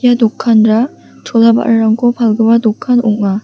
ia dokanra chola ba·rarangko palgipa dokan ong·a.